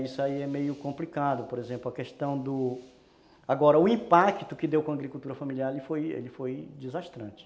Isso aí é meio complicado, por exemplo, a questão do... Agora, o impacto que deu com a agricultura familiar ele foi ele desgastante